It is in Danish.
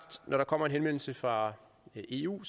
at når der kommer en henvendelse fra eu